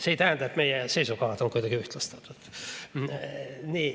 See ei tähenda, et meie seisukohad on kuidagi ühtlustunud.